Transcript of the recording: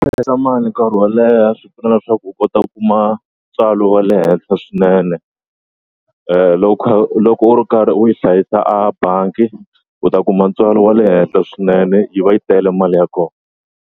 Hlayisa mali nkarhi wo leha swi pfuna leswaku u kota u kuma ntswalo wa le henhla swinene loko kha loko u ri karhi u yi hlayisa a bangi u ta kuma ntswalo wa le henhla swinene yi va yi tele mali ya kona.